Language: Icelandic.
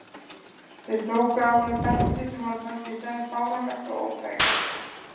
Þeir tóku af honum beltið sem honum fannst í senn fáránlegt og óþægilegt.